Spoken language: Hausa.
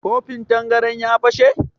Kofin tangaran ya fashe?